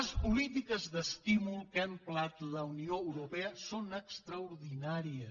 les polítiques d’estímul que ha emprat la unió europea són extraordinàries